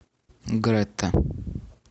грета